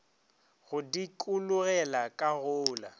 go dikologela ka go la